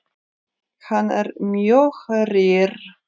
Hann er mjög rýr.